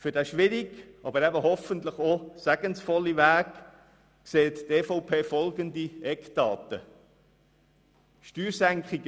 Für diesen schwierigen, aber hoffentlich auch segensvollen Weg, sieht die EVP folgende Eckdaten vor: